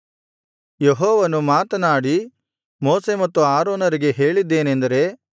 ಯೆಹೋವನು ಮಾತನಾಡಿ ಮೋಶೆ ಮತ್ತು ಆರೋನರಿಗೆ ಹೇಳಿದ್ದೇನೆಂದರೆ